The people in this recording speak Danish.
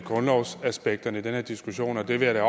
grundlovsaspekterne i den her diskussion og det vil jeg